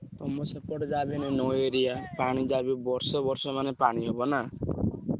ତମ ସେପଟ ଯାହା ବି ହେଲେ ନଈ area ପାଣି ଯାହା ବି ହଉ ବର୍ଷ ବର୍ଷ ମାନେ ପାଣି ହବ ନା?